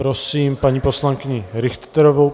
Prosím paní poslankyni Richterovou.